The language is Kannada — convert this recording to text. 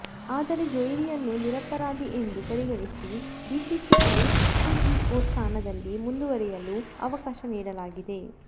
ಆದರೆ ಜೋಹ್ರಿಯನ್ನು ನಿರಪರಾಧಿ ಎಂದು ಪರಿಗಣಿಸಿ ಬಿಸಿಸಿಐ ಸಿಇಒ ಸ್ಥಾನದಲ್ಲಿ ಮುಂದುವರೆಯಲು ಅವಕಾಶ ನೀಡಲಾಗಿದೆ